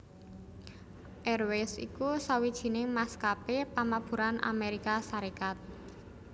Airways iku sawijining maskapé pamaburan Amérika Sarékat